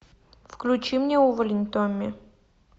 включи мне увалень томми